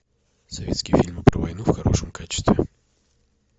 советские фильмы про войну в хорошем качестве